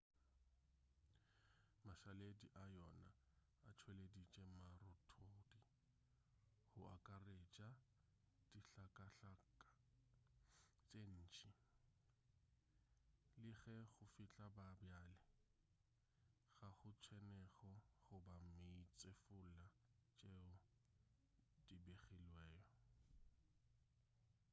mašaledi a yona a tšweleditše marothodi go akaretša dihlakahlaka tše ntši le ge go fihla ga bjale ga go tshenyego goba meetsefula tšeo di begilwego